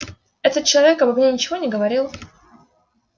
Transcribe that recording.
этот человек обо мне ничего не говорил